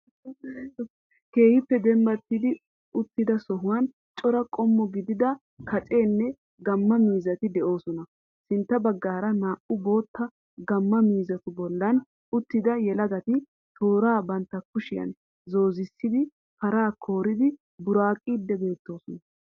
Keehippe dembbaati uttida sohuwaan cora qommo gidida kaccenne gamma mizzati de^oosona. Sintta bagaara naa^u bootta gamma mizzatu boollan uttidda yeelaagati toora bantta kuushshiyan zozzissidi paraa kooridi buraqqidi beetoosona.